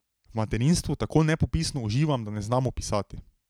V materinstvu tako nepopisno uživam, da ne znam opisati.